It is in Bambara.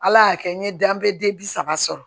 Ala y'a kɛ n ye danbe den bi saba sɔrɔ